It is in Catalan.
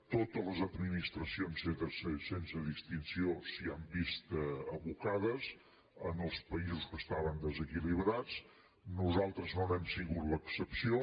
totes les administracions sense distinció s’hi han vist abocades en els països que estaven desequilibrats nosaltres no n’hem sigut l’excepció